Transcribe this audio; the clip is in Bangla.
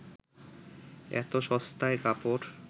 এত সস্তায় কাপড়